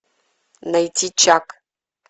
найти чак